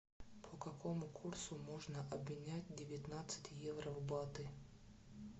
по какому курсу можно обменять девятнадцать евро в баты